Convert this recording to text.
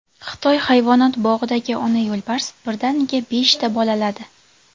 Xitoy hayvonot bog‘idagi ona yo‘lbars birdaniga beshta bolaladi.